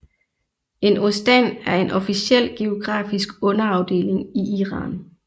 En ostan er en officiel geografisk underafdeling i Iran